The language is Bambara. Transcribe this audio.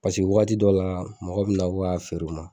Paseke wagati dɔ la mɔgɔ bɛ na ko k'a feere u ma.